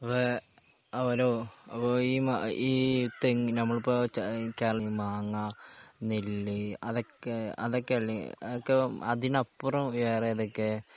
അവരോ അപ്പോ ഈ മ ഈ തെങ്ങിന് നമ്മളിപ്പോ ച കേരളത്തിൽ മാങ്ങ നെല്ലി അതൊക്കെ അതൊക്കെയല്ലേ അതൊക്കെ അതിനപ്പുറം വേറെ ഏതൊക്കെ